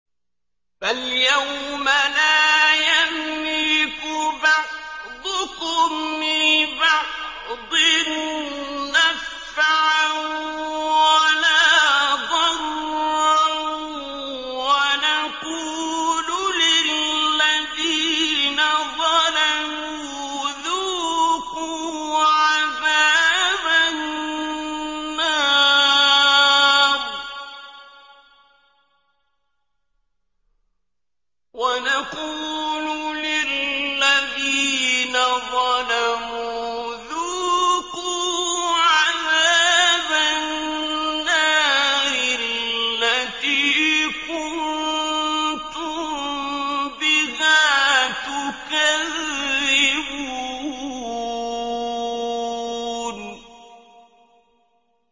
فَالْيَوْمَ لَا يَمْلِكُ بَعْضُكُمْ لِبَعْضٍ نَّفْعًا وَلَا ضَرًّا وَنَقُولُ لِلَّذِينَ ظَلَمُوا ذُوقُوا عَذَابَ النَّارِ الَّتِي كُنتُم بِهَا تُكَذِّبُونَ